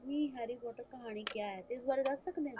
ਕੀ harry potter ਕਹਾਣੀ ਕਿਆ ਹੈ ਇਸ ਬਾਰੇ ਦੱਸ ਸਕਦੇ ਹੋ